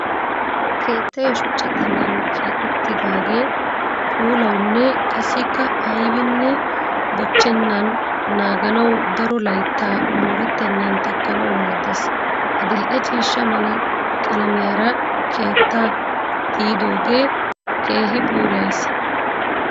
Keettay shuchcha xallan keexettidaagee puulawunne qassikka ayibinne bochchennan naaganawu daro layittaa moorettennan takkanawu maaddes. Adil'e ciishsha mala qalamiyara keettaa tiyiyogge keehi puulayees.